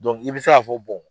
i bɛ se k'a fɔ